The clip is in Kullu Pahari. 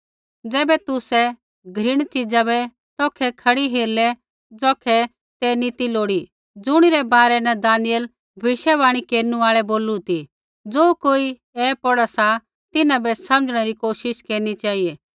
ज़ैबै तुसै घृणित च़ीज़ा बै तौखै खड़ी हेरलै ज़ौखै ते नी ती लोड़ी ज़ुणी रै बारै न दानिय्येल भविष्यवाणी केरनु आल़ै बोलू ती ज़ो कोई ऐ पौढ़ा सा तिन्हां बै समझणै री कोशिश केरनी चेहिऐ